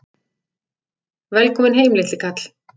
Velkominn heim, litli kall!